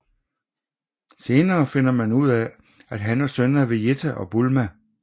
Senere finder man ud af han er søn af Vejita og Bulma